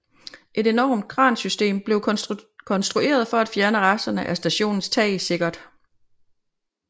Et enormt kransystem blev konstrueret for at fjerne resterne af stationens tag sikkert